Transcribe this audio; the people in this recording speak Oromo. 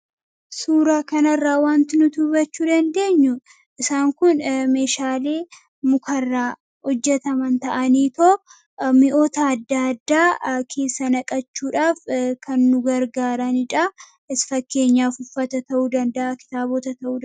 Suuraa kanarraa wanti nuti hubachuu dandeenyu isaan kun meeshaalee mukarraa hojjetaman ta'aniitoo mi'oota adda addaa keessa naqachuudhaaf kan nu gargaarani dha. Fakkeenyaaf uffata ta'uu danda'a, kitaabota ta'uu dan...